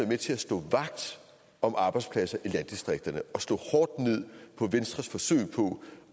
med til at stå vagt om arbejdspladser i landdistrikterne og slå hårdt ned på venstres forsøg på